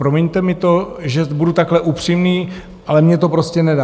Promiňte mi to, že budu takhle upřímný, ale mně to prostě nedá.